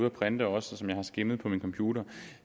at printe og som jeg også har skimmet på min computer